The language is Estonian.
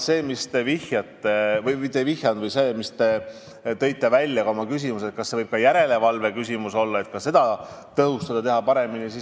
Te tõite oma küsimuses välja ka selle, kas asi võib olla järelevalves, kas seda on vaja tõhustada ja paremini teha.